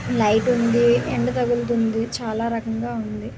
night ఉంది ఎండ తగులుతుంది చాలా రకంగా ఉంది